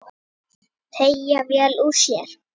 Skipið er ennþá í höfn.